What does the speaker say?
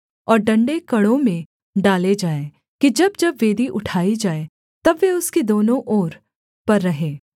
और डण्डे कड़ों में डाले जाएँ कि जब जब वेदी उठाई जाए तब वे उसकी दोनों ओर पर रहें